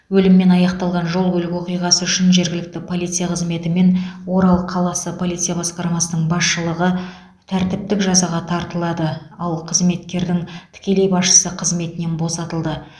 өліммен аяқталған жол көлік оқиғасы үшін жергілікті полиция қызметі мен орал қаласы полиция басқармасының басшылығы тәртіптік жазаға тартылды ал қызметкердің тікелей басшысы қызметінен босатылды